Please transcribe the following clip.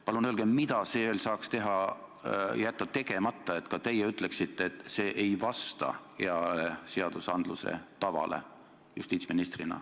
Palun öelge, mida saaks veel teha, et ka teie ütleksite justiitsministrina, et see ei vasta hea seadusloome tavale!